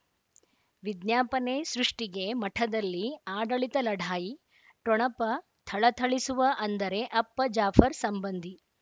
ವಿಜ್ಞಾಪನೆ ಸೃಷ್ಟಿಗೆ ಮಠದಲ್ಲಿ ಆಡಳಿತ ಲಢಾಯಿ ಠೊಣಪ ಥಳಥಳಿಸುವ ಅಂದರೆ ಅಪ್ಪ ಜಾಫರ್ ಸಂಬಂಧಿ